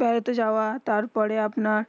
বেড়াতে যাওবা তার পরে আপনার